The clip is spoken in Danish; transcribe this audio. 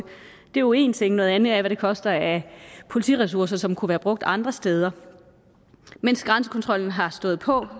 er jo én ting noget andet er hvad det koster af politiressourcer som kunne være brugt andre steder mens grænsekontrollen har stået på